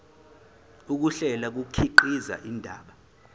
ukuhlela kukhiqiza indaba